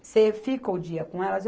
Você fica o dia com elas?